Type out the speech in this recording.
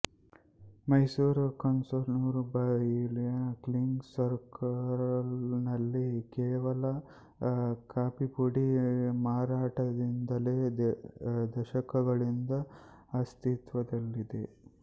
ಮೈಸೂರ್ ಕನ್ಸರ್ನ್ಸ್ಮುಂಬಯಿನ kings circle ನಲ್ಲಿ ಕೇವಲ ಕಾಫಿಪುಡಿ ಮಾರಾಟದಿಂದಲೇ ದಶಕಗಳಿಂದ ಅಸ್ತಿತ್ವದಲ್ಲಿದೆ